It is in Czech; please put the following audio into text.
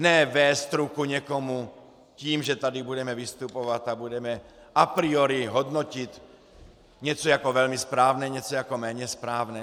Ne vést ruku někomu tím, že tady budeme vystupovat a budeme a priori hodnotit něco jako velmi správné, něco jako méně správné.